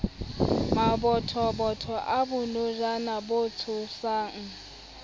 mabothobotho a bonojana bo tsotwang